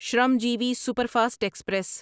Shramjeevi superfast express